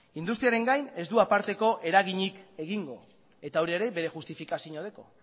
industriaren gain ez du aparteko eraginik egingo eta hori ere bere justifikazioa dauka